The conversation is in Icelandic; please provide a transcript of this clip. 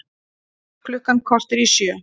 Klukkan korter í sjö